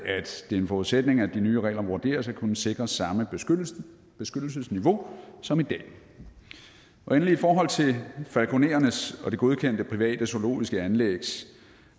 det er en forudsætning at de nye regler vurderes at kunne sikre samme beskyttelsesniveau som i dag endelig i forhold til falkonerernes og de godkendte private zoologiske anlægs